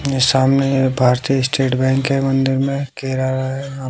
ये सामने Bharatiya state bank है और अंदर में